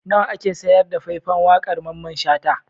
Nawa ake sayar da fai-fan waƙar Mamman Shata?